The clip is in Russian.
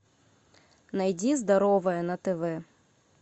найди здоровое на тв